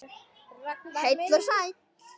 Heill og sæll!